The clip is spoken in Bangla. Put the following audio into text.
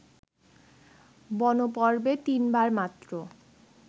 বনপর্বে তিনবার মাত্র